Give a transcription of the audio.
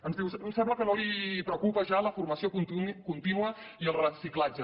ens diu em sembla que no li preocupa ja la formació contínua i el reciclatge